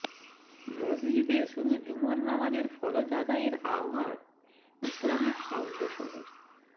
মসজিদে শুধু জুমার নামাজের ফরজ আদায়ের আহ্বান ইসলামিক ফাউন্ডেশনের